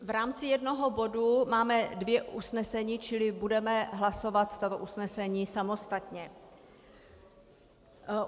V rámci jednoho bodu máme dvě usnesení, čili budeme hlasovat tato usnesení samostatně.